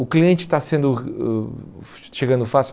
O cliente está sendo ãh chegando fácil.